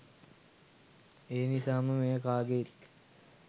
එනිසාම මෙය කාගේත්